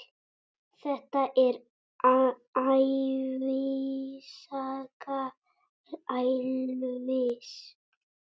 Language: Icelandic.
Þetta er ævisaga Elvis!